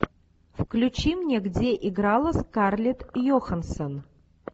включи мне где играла скарлетт йоханссон